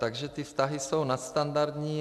Takže ty vztahy jsou nadstandardní.